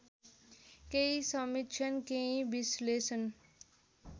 केही समीक्षण केही विश्लेषण